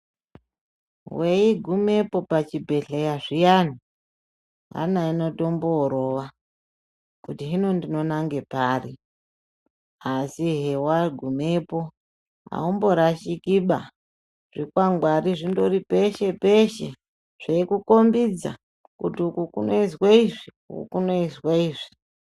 Weigumepo pachibhehleya zviyani hana inotomborova kuti hino ndinonange pari. Asi hewagumepo haumborashikiba zvikwangwari zvindori peshe-peshe, zveikukombidza kuti uko kunoizwe izvi, uku kunoizwe izvi.